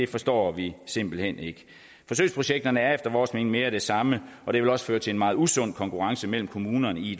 forstår vi simpelt hen ikke forsøgsprojekterne er efter vores mening mere af det samme og det vil også føre til en meget usund konkurrence mellem kommunerne i